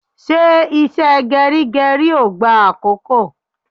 Ṣé ìṣe geri geri ó gbá àkókò?